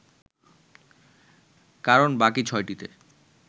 কারণ বাকি ছয়টিতে